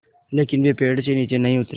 लेकिन वे पेड़ से नीचे नहीं उतरे